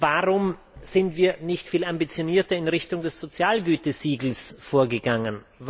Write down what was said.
Warum sind wir nicht viel ambitionierter in Richtung des Sozialgütesiegels vorgegangen?